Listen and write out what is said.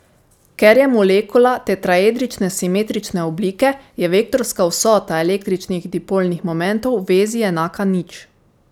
Ker je molekula tetraedrične simetrične oblike, je vektorska vsota električnih dipolnih momentov vezi enaka nič.